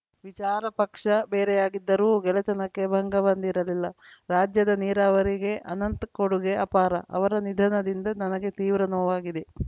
ವಿಚಾರ ಪಕ್ಷ ಬೇರೆಯಾಗಿದ್ದರೂ ಗೆಳೆತನಕ್ಕೆ ಭಂಗ ಬಂದಿರಲಿಲ್ಲ ರಾಜ್ಯದ ನೀರಾವರಿಗೆ ಅನಂತ್‌ ಕೊಡುಗೆ ಅಪಾರ ಅವರ ನಿಧನದಿಂದ ನನಗೆ ತೀವ್ರ ನೋವಾಗಿದೆ